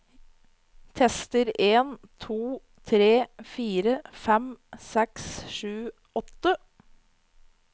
Tester en to tre fire fem seks sju åtte